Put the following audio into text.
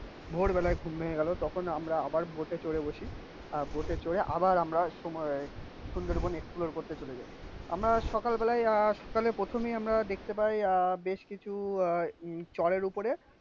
খুব ভোর বেলায় ঘুম ভেঙে গেল. তখন আমরা আবার বোটে চড়ে বসি. আহ বোট এ চড়ে আবার আমরা সুন্দরবন এক্সপ্লোর করতে চলে যাই. আমরা সকালবেলায় আহ সকালে প্রথমেই আমরা দেখতে পাই আ বেশ কিছু আ চড়ের উপরে.